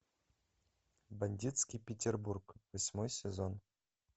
бандитский петербург восьмой сезон